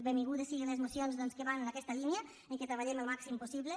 benvingudes siguin les mocions que van en aquesta línia en què treballem al màxim possible